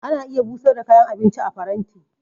Ana iya busar da kayan abinci a faranti.